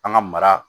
An ka mara